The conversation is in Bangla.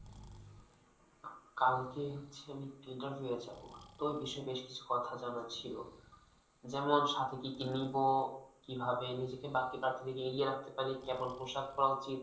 কালকে হচ্ছে আমি interview য়ে যাবো তো এ বিষয়ে বেশ কিছু কথা জানা ছিল, যেমন সাথে কি কি নিবো কিভাবে নিজেকে বাকি প্রার্থীদের থেকে এগিয়ে রাখতে পারি, কেমন পোশাক পড়া উচিত?